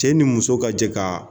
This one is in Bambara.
Cɛ ni muso ka jɛ ka